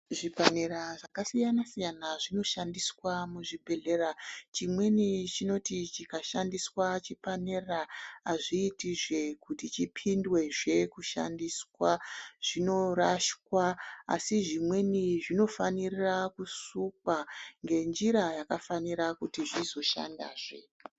Zvipanera zvakasiyana siyana zvinoshandiswe muzvibhedhlera chimweni chinoti chikashandiswa chipanera hazviiti zvee kuti chipinde zvee kushandiswa zvinoraswa asi zvimweni zvinofanira kusukwa ngenjira yakafanira kuti zvizoshanda zvee.